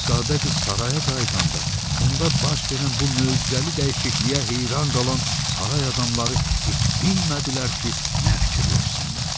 Şahzadə qız saraya qayıdanda onda baş verən bu möcüzəli dəyişikliyə heyran qalan saray adamları heç bilmədilər ki, nə fikirləşsinlər.